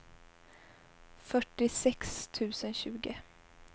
fyrtiosex tusen tjugo